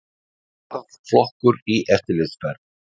Varðflokkur í eftirlitsferð.